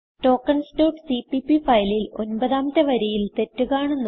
tokens dot CPP ഫയലിൽ ഒൻപതാമത്തെ വരിയിൽ തെറ്റ് കാണുന്നു